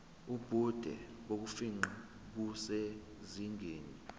ubude bokufingqa busezingeni